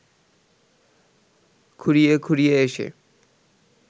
খুঁড়িয়ে খুঁড়িয়ে এসে